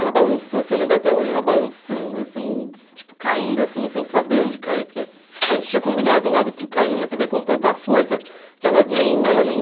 Ela balançou assim, eu lembro até hoje, ela balançando assim, tipo caindo assim, sem saber onde cair, porque a gente tinha combinado o lado que cair, mas eu dei com tanta força que ela nem, ela nem...